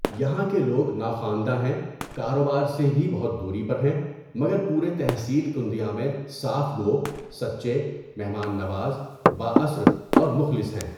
یہاں کے لوگ ناخوانده ہیں کاروبار سے بهی بہت دوری پر ہیں مگر پورے تحصیل کندیا میں صاف گو، سچے، مہمان نواز، با اثر، اور مخلص ہیں.